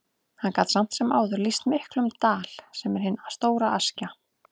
Hann gat samt sem áður lýst miklum dal, sem er hin stóra Askja.